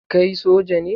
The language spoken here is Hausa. Kai soja ne?